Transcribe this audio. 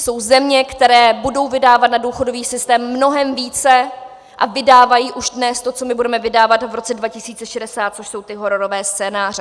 Jsou země, které budou vydávat na důchodový systém mnohem více a vydávají už dnes to, co my budeme vydávat v roce 2060, což jsou ty hororové scénáře.